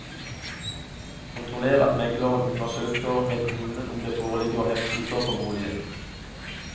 Kontroller at megleren undersøker med kommunen om det foreligger heftelser på boligen.